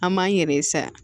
An m'an yɛrɛ ye sa